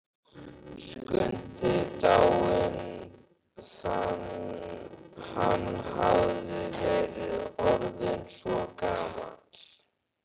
Skundi dáinn, hann hafði verið orðinn svo gamall.